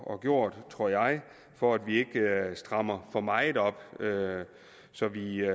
og gjort for at vi ikke strammer for meget op så vi